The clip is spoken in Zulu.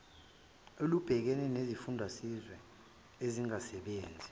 olubhekene nezifundiswa ezingasebenzi